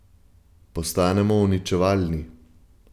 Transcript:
Postanemo uničevalni.